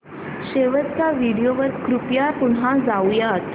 शेवटच्या व्हिडिओ वर कृपया पुन्हा जाऊयात